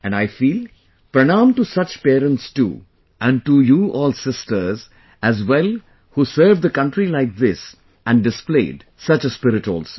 And I feel... pranam to such parents too and to you all sisters as well who served the country like this and displayed such a spirit also